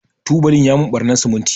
tubalin ya mun ɓarnan siminti.